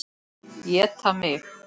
Éta mig.